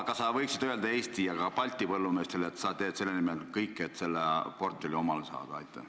Kas sa võiksid öelda Eesti ja ka teistele Balti põllumeestele, et sa teed selle nimel kõik, et see portfell omale saada?